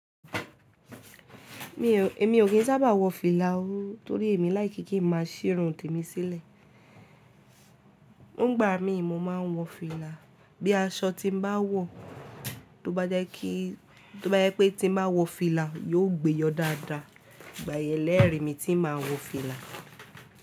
Mi ò, èmi ò kín sábà wọ fìlà o torí èmi like ke mi má a ṣírun tèmi sílẹ̀. Nígbà mi mo ma ń wọ fìlà, bí aṣọ tí mo bá wọ tó bá jẹ́ kí, tó bá jẹ́ pé tí mo má wọ fìlà yóò gbẹ́ yọ dáadáa gbà ẹ̀lẹ́rìí mi tí n má wọ fìlà.